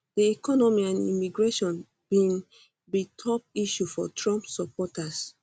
di economy and immigration bin be top issues for trump supporters